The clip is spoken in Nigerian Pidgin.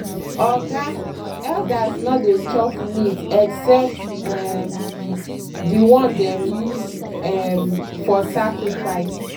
oga elders no dey chop meat except um the one dem use um for sacrifice.